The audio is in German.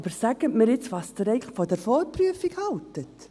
Aber sagen Sie einmal, was Sie von der Vorprüfung halten.